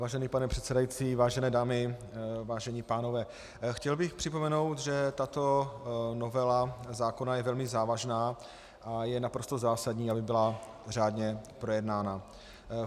Vážený pane předsedající, vážené dámy, vážení pánové, chtěl bych připomenout, že tato novela zákona je velmi závažná a je naprosto zásadní, aby byla řádně projednána.